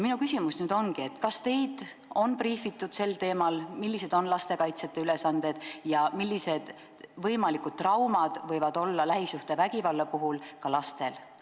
Minu küsimus ongi: kas teid on briifitud sel teemal, millised on lastekaitsjate ülesanded ja millised traumad võivad olla lähisuhtevägivalla korral ka lastel?